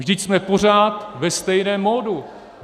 Vždyť jsme pořád ve stejném modu.